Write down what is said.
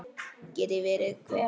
Geti verið hver?